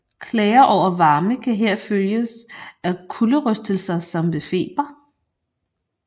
Klager over varme kan her følges af kulderystelser som ved feber